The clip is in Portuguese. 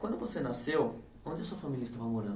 Quando você nasceu, onde a sua família estava morando?